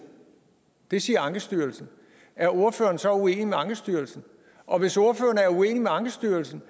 det siger ankestyrelsen er ordføreren så uenig med ankestyrelsen og hvis ordføreren er uenig med ankestyrelsen